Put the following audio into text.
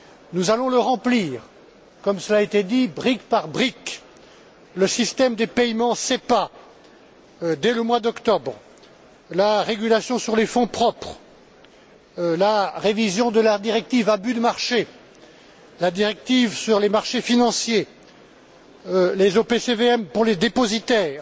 Nous allons le remplir, comme cela a été dit, brique par brique le système des paiements SEPA, dès le mois d'octobre, la régulation sur les fonds propres, la révision de la directive abus de marché, la directive sur les marchés financiers, les OPCVM pour les dépositaires,